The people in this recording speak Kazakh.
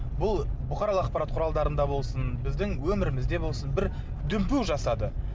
бұл бұқаралық ақпарат құралдарында болсын біздің өмірімізде болсын бір дүмпу жасады